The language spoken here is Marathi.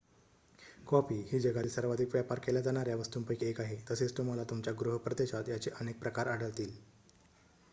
कॉफी ही जगातील सर्वाधिक व्यापार केल्या जाणाऱ्या वस्तूंपैकी 1 आहे तसेच तुम्हाला तुमच्या गृह प्रदेशात याचे अनेक प्रकार आढळतील